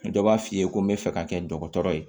Dɔ b'a f'i ye ko n bɛ fɛ ka kɛ dɔgɔtɔrɔ ye